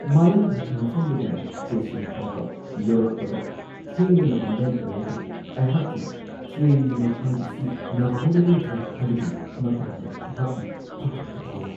ꯃꯥꯂꯪ-ꯍꯤꯊꯥꯡꯐꯝꯗꯒꯤꯅ station ꯐꯥꯎꯕ ꯌꯧꯔꯛꯄꯗ ꯊꯦꯡꯕꯅ ꯃꯔꯝ ꯑꯣꯏꯔꯒ ꯑꯩꯍꯥꯛꯀꯤ ꯇ꯭ꯔꯦꯟꯒꯤ ꯃꯊꯥꯡ ꯑꯁꯤ ꯅꯪꯍꯧꯔꯔꯣꯏꯗ꯭ꯔꯥ ꯍꯥꯏꯕꯒꯤ ꯃꯇꯥꯡꯗ ꯑꯩꯍꯥꯛꯅ ꯄꯥꯈꯠꯄ ꯐꯥꯎꯋꯤ ꯫